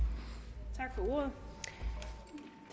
have